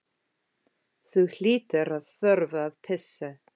Þú hlýtur að þurfa að pissa.